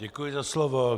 Děkuji za slovo.